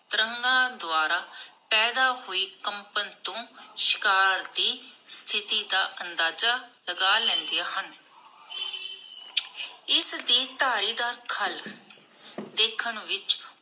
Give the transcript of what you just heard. ਤਰੰਗਾਂ ਦੁਆਰਾ ਪੈਦਾ ਹੁਈ ਕੰਪਨ ਤੂੰ ਸ਼ਿਕਾਰ ਦੀ ਸਤਿਥੀ ਦਾ ਅੰਦਾਜ਼ਾ ਲਗਾ ਲੈਂਦੀਆਂ ਹਨ. ਇਸਦੀ ਧਾਰੀ ਦਾ ਖੱਲ ਦੇਖਣ ਵਿਚ